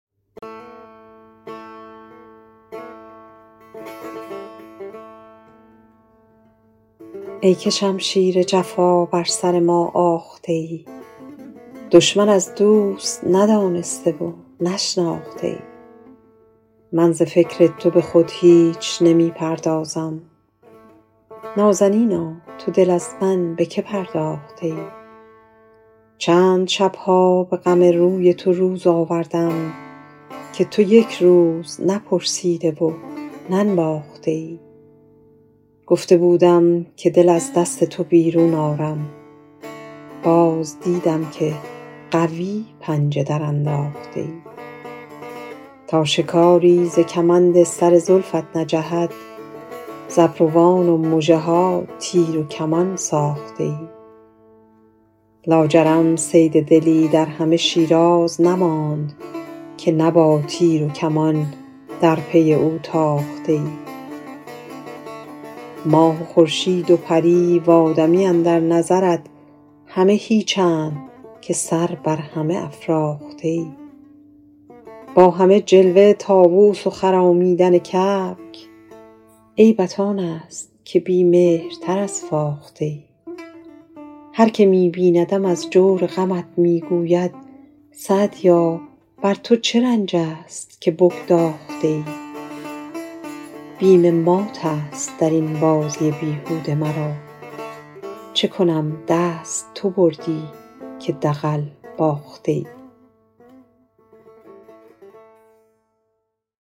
ای که شمشیر جفا بر سر ما آخته ای دشمن از دوست ندانسته و نشناخته ای من ز فکر تو به خود نیز نمی پردازم نازنینا تو دل از من به که پرداخته ای چند شب ها به غم روی تو روز آوردم که تو یک روز نپرسیده و ننواخته ای گفته بودم که دل از دست تو بیرون آرم باز دیدم که قوی پنجه درانداخته ای تا شکاری ز کمند سر زلفت نجهد ز ابروان و مژه ها تیر و کمان ساخته ای لاجرم صید دلی در همه شیراز نماند که نه با تیر و کمان در پی او تاخته ای ماه و خورشید و پری و آدمی اندر نظرت همه هیچند که سر بر همه افراخته ای با همه جلوه طاووس و خرامیدن کبک عیبت آن است که بی مهرتر از فاخته ای هر که می بیندم از جور غمت می گوید سعدیا بر تو چه رنج است که بگداخته ای بیم مات است در این بازی بیهوده مرا چه کنم دست تو بردی که دغل باخته ای